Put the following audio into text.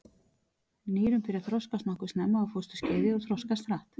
Nýrun byrja að þroskast nokkuð snemma á fósturskeiði og þroskast hratt.